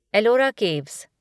Ellora caves